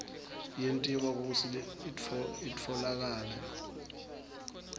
yentiwa kutsi itfolakale